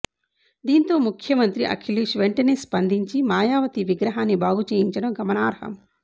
దీంతో ముఖ్యమంత్రి అఖిలేష్ వెంటనే స్పందించి మాయావతి విగ్రహాన్ని బాగు చేయించడం గమనార్హం